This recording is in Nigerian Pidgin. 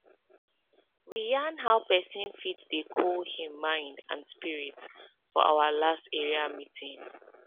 we yarn how pesin fit dey cool hin mind and spirit for our last area meeting